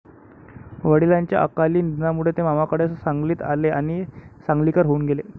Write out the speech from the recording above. वडिलांच्या अकाली निधनामुळे ते मामाकडे सांगलीत आले आणि सांगलीकर होऊन गेले.